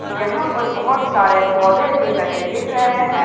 यहां पर बहुत सारे पौधे भी लगे दिख रहे हैं।